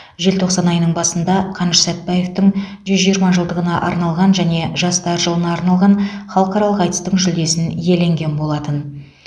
желтоқсан айының басында қаныш сәтбаевтың жүз жиырма жылдығына арналған және жастар жылына арналған халықаралық айтыстың жүлдесін иеленген болатын